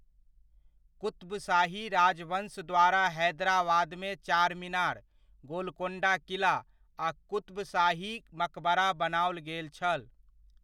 क़ुत्ब शाही राजवंश द्वारा हैदराबादमे चारमीनार, गोलकोण्डा किला आ क़ुत्ब शाही मकबरा बनाओल गेल छल।